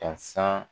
Ka san